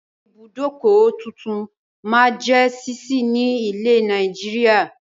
Àwọn ibùdókọ̀ tuntun máa jẹ ṣíṣí ni ilẹ̀ Nàìjíríà